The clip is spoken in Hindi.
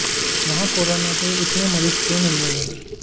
वहां कोरोना के इतने मरीज क्यों मिल रहे हैं